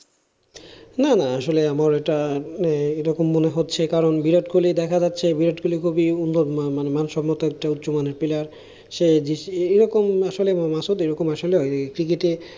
না না আসলে আমার এটা মানে এরকম মনে হচ্ছে যে কারণ বিরাট কোহলি দেখা যাচ্ছে, বিরাট কোহলি খুবই উন্নত মানের মানে মান সম্মত একটা উচ্চ মানের player সে এরকম আসলে মাসুদ আসলে cricket এ,